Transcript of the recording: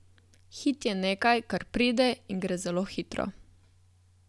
Hit je nekaj, kar pride in gre zelo hitro.